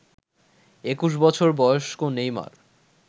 ২১ বছর বয়স্ক নেইমার